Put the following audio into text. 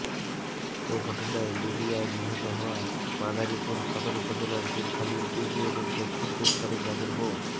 এ ঘটনায় লিবিয়ায় নিহত হওয়া মাদারীপুর সদর উপজেলার দুধখালি ইউনিয়নের দক্ষিণ দুধখালি গ্রামের মো